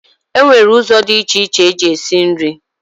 E nwere ụzọ dị iche iche eji esi nri.